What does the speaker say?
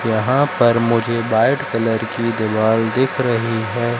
यहां पर मुझे व्हाइट कलर की दीवाल दिख रही हैं।